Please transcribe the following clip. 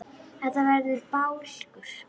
Þetta verði bálkur.